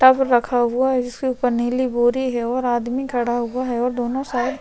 tub रखा हुआ है जिसके ऊपर नीली बोरी और आदमी खड़ा हुआ है और दोनों साइड--